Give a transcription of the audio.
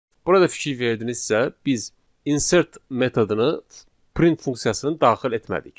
Burada fikir verdinizsə, biz insert metodunu print funksiyasının daxil etmədik.